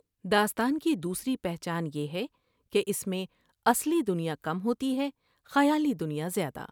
داستان کی دوسری پہچان یہ ہے کہ اس میں اصلی دنیا کم ہوتی ہے ، خیالی دنیا زیادہ ۔